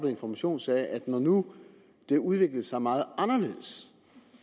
information sagde at når nu det udviklede sig meget anderledes